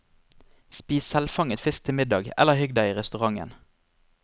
Spis selvfanget fisk til middag eller hygg deg i restauranten.